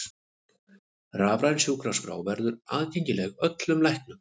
Rafræn sjúkraskrá verði aðgengileg öllum læknum